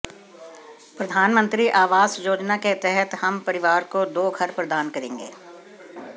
प्रधानमंत्री आवास योजना के तहत हम परिवार को दो घर प्रदान करेंगे